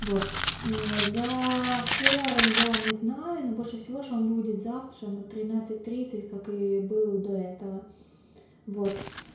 вот за хор я не знаю но больше всего что он будет завтра на тринадцать тридцать как и был до этого вот